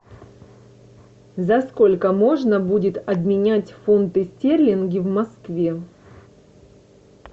за сколько можно будет обменять фунты стерлинги в москве